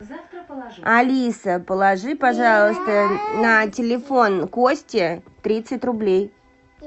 алиса положи пожалуйста на телефон кости тридцать рублей